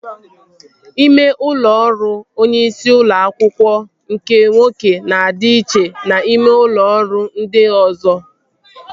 Ime ụlọ ọrụ onye isi ụlọ akwụkwọ nke nwoke na-adị iche na ime ụlọ ọrụ ndị ọzọ